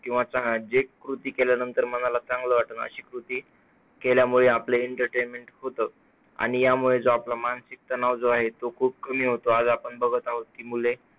किंवा आता जे कृती केल्याने मनाला चांगलं वाटतं ते कृती केल्याने entertainment होतं. आणि यामुळेच आपला जो मानसिक ताण आहे तो खूप कमी होतो. आता आपण बघत आहोत की मुले